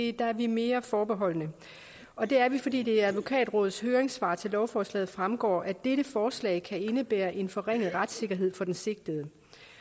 er vi mere forbeholdne og det er vi fordi det af advokatrådets høringssvar til lovforslaget fremgår at dette forslag kan indebære en forringet retssikkerhed for den sigtede